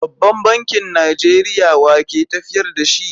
Babban Bankin Najeriya (CBN) wa ke tafiyar da shi?